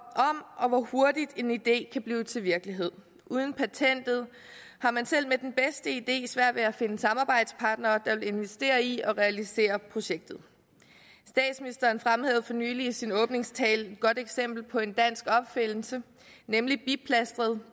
og hvor hurtigt en idé kan blive til virkelighed uden patentet har man selv med den bedste idé svært ved at finde samarbejdspartnere der vil investere i at realisere projektet statsministeren fremhævede for nylig i sin åbningstale et godt eksempel på en dansk opfindelse nemlig biplastret